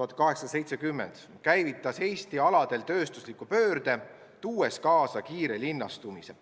1870 käivitas Eesti alal tööstusliku pöörde, mis tõi kaasa kiire linnastumise.